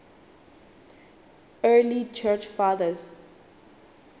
early church fathers